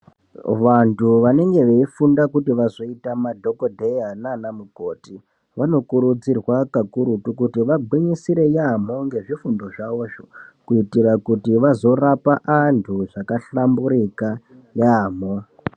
Vantu vanenge veifunda kuti vazoita madhogodheya naana mukoti vanokurudzirwa kakurutu kuti vagwinyisire yaamho ngezvifundo zvavozvo, kuitira kuti vazorapa antu zvakahlamburika yaamho.